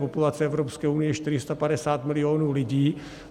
Populace Evropské unie je 450 milionů lidí.